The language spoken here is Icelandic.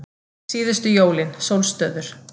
Síðustu jólin, sólstöður